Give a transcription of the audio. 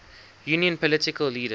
union political leaders